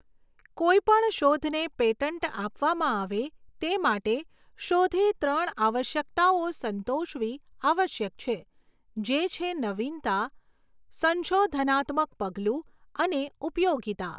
કોઈપણ શોધને પેટન્ટ આપવામાં આવે તે માટે શોધે ત્રણ આવશ્યકતાઓ સંતોષવી આવશ્યક છે, જે છે નવીનતા, સંશોધનાત્મક પગલું અને ઉપયોગિતા.